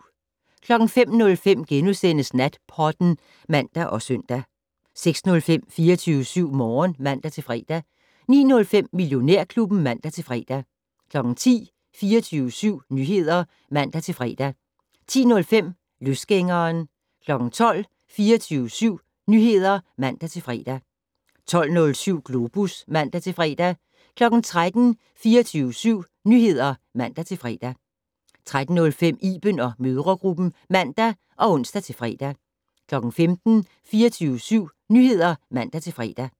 05:05: Natpodden *(man og søn) 06:05: 24syv Morgen (man-fre) 09:05: Millionærklubben (man-fre) 10:00: 24syv Nyheder (man-fre) 10:05: Løsgængeren 12:00: 24syv Nyheder (man-fre) 12:07: Globus (man-fre) 13:00: 24syv Nyheder (man-fre) 13:05: Iben & mødregruppen (man og ons-fre) 15:00: 24syv Nyheder (man-fre)